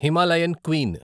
Himalayan queen